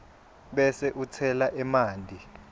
bese utsela emanti